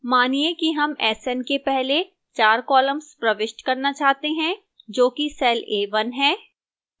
मानिए कि हम sn के पहले 4 columns प्रविष्ट करना चाहते हैं जो कि cell a1 है